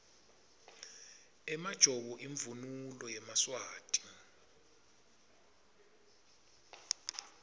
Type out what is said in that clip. emajobo imvunulo yemaswati